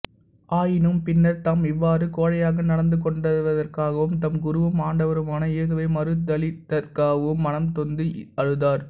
ஆயினும் பின்னர் தாம் இவ்வாறு கோழையாக நடந்து கொண்டதற்காகவும் தம் குருவும் ஆண்டவருமான இயேசுவை மறுதலித்ததற்காகவும் மனம் நொந்து அழுதார்